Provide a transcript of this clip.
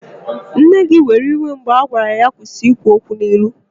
Nne gị were iwe mgbe ha gwara ya ka ọ kwụsị ikwu okwu n'ilu